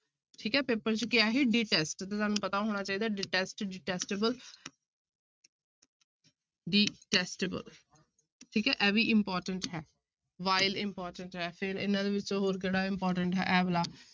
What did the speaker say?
ਠੀਕ ਹੈ ਪੇਪਰ 'ਚ ਕੀ ਆਇਆ ਸੀ detest ਤੇ ਤੁਹਾਨੂੰ ਪਤਾ ਹੋਣਾ ਚਾਹੀਦਾ detest, detestable detestable ਠੀਕ ਹੈ ਇਹ ਵੀ important ਹੈ vile important ਹੈ ਫਿਰ ਇਹਨਾਂ ਦੇ ਵਿੱਚੋਂ ਹੋਰ ਕਿਹੜਾ important ਹੈ ਇਹ ਵਾਲਾ